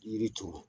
Yiri turu